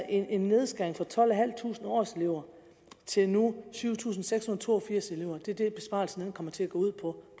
en nedskæring fra tolvtusinde årselever til nu syv tusind seks hundrede og to og firs er det besparelsen kommer til at gå ud på